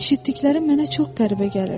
Eşitdiklərim mənə çox qəribə gəlirdi.